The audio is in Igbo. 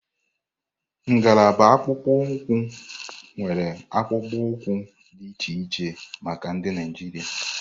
Ngalaba akpụkpọ ụkwụ nwéré akpụkpọ ụkwụ dị iche iche maka ndị Naijiria.